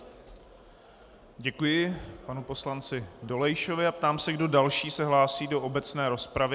Děkuji panu poslanci Dolejšovi a ptám se, kdo další se hlásí do obecné rozpravy.